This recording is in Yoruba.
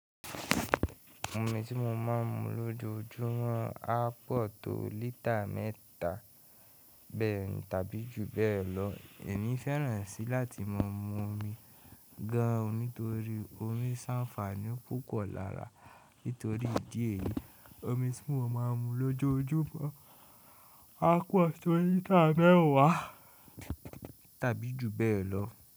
Omi tí mo máa ń mu lójoojúmọ́ á pọ̀ tó lítà mẹ́ta bẹ́ẹ̀ ni tàbí jù bẹ́ẹ̀ lọ. Èmi fẹ́ràn sí láti máa mu omi gan an nítorí omi sánfààní púpọ̀ lára. Nítorí ìdí èyí omi tí mo máa ń mu lójoojúmọ́ á pọ̀ tó lítà mẹ́wàá tàbí jù bẹ́ẹ̀ lọ.